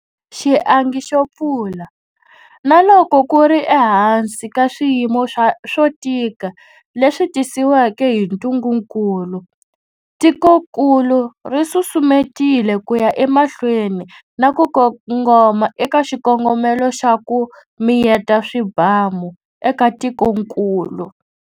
Xiangi xo pfula, na loko ku ri ehansi ka swiyimo swo tika leswi tisiweke hi ntungukulu, tikokulu ri susumetile ku ya emahlweni na ku kongoma eka xikongomelo xa 'ku miyeta swibamu' eka tikokulu.